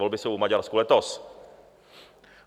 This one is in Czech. Volby jsou v Maďarsku letos.